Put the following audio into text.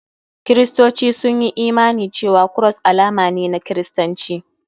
Kiristoci sun yi imani cewa Cross alama ne na kiristanci.